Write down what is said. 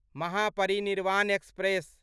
Mahaparinirvan express